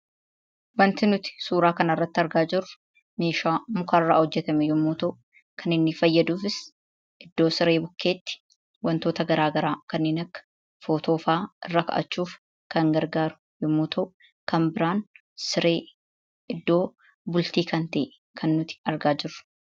Waanti nuti suuraa kanarratti argaa jirru, meeshaa mukarraa hojjetame yommuu ta'u, kan inni fayyaduufis iddoo siree bukkeetti wantoota garaa garaa kanneen akka footoo fa'a irra kaa'achuuf kan gargaaru yommuu ta'u, kan biraan siree iddoo bultii kan ta'e kan nuti argaa jirru.